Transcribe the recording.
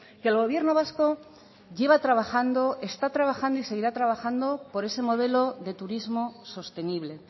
que el gobierno vasco lleva trabajando está trabajando y seguirá trabajando por ese modelo de turismo sostenible